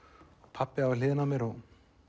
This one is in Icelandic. pabbi var við hliðina á mér og